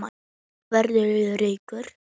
Verða ríkur.